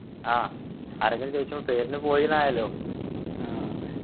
ആഹ് ആരെങ്കിലും ചോയ്ച്ചാ പേരിന് പോയീന്നായല്ലോ